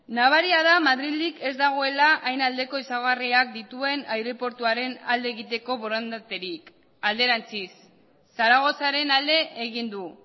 nabaria da madrildik ez dagoela hain aldeko ezaugarriak dituen aireportuaren alde egiteko borondaterik alderantziz zaragozaren alde egin du